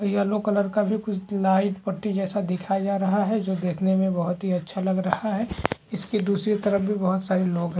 Yellow colour का भी कुछ लाइट पट्टी जैसा दिखाई जा रहा है जो देखने में बहुत ही अच्छा लग रहा है इसकी दूसरी तरफ भी बहुत सारे लोग हैं ।